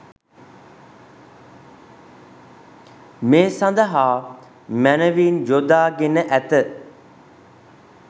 මේ සඳහා මැනවින් යොදා ගෙන ඇත.